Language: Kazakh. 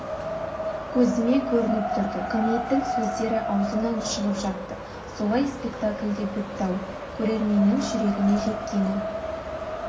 көзіме көрініп тұрды гамлеттің сөздері аузымнан шығып жатты солай спектакль де бітті-ау көрерменнің жүрегіне жеткені